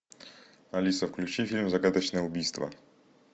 алиса включи фильм загадочное убийство